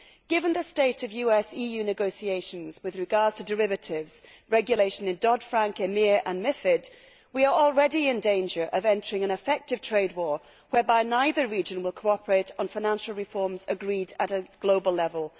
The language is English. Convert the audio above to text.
Given the state of US EU negotiations with regard to derivatives regulation in Dodd Frank, EMIR and MiFID, we are already in danger of entering an effective trade war, whereby neither region will cooperate on financial reforms agreed at a global level.